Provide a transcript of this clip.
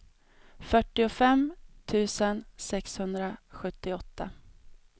fyrtiofem tusen sexhundrasjuttioåtta